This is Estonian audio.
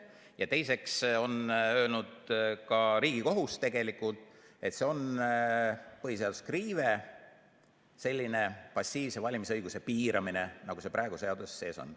Ja teiseks on öelnud ka Riigikohus tegelikult, et see on põhiseaduslik riive, selline passiivse valimisõiguse piiramine, nagu see praegu seaduses sees on.